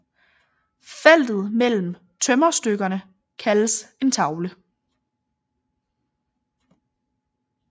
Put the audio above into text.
Feltet mellem tømmerstykkerne kaldes en tavle